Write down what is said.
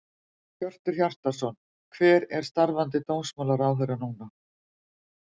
Hjörtur Hjartarson: Hver er starfandi dómsmálaráðherra núna?